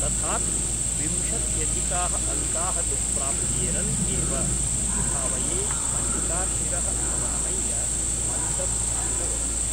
तथापि विंशत्यधिकाः अङ्काः तु प्राप्येरन् एव इति भावये मल्लिका शिरः अवनमय्य मन्दं हसितवती ।